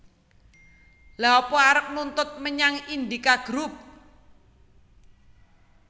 Lha apa arep nuntut menyang Indika Group?